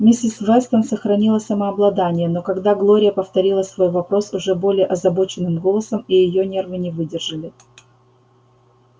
миссис вестон сохранила самообладание но когда глория повторила свой вопрос уже более озабоченным голосом и её нервы не выдержали